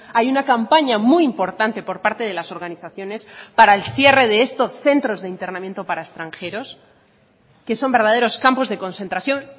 hay una campaña muy importante por parte de las organizaciones para el cierre de estos centros de internamiento para extranjeros que son verdaderos campos de concentración